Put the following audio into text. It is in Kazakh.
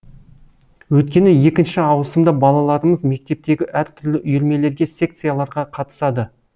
өйткені екінші ауысымда балаларымыз мектептегі әртүрлі үйірмелерге секцияларға қатысады